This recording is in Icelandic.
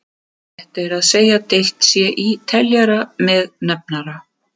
Rétt er að segja deilt sé í teljara með nefnara.